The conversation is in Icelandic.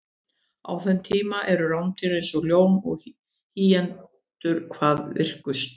á þeim tíma eru rándýr eins og ljón og hýenur hvað virkust